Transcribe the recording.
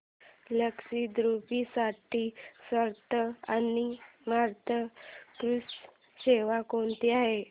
लक्षद्वीप साठी स्वस्त आणि मस्त क्रुझ सेवा कोणती आहे